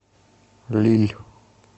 лилль